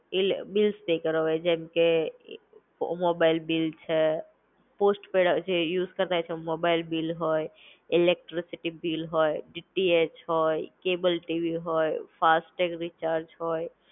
ઈલે bills pay કરવા હોય જેમ કે, મોબાઈલ બિલ છે, પોસ્ટ-પૈડ આ જે યુઝ કરતા હોય છે મોબાઈલ બિલ હોય. ઇલેકટ્રીસિટી બિલ હોય ડીટીએચ હોય, કેબલ ટીવી હોય, ફાસ્ટ રિચાર્જ હોય.